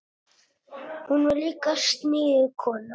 Hún var líka sniðug kona.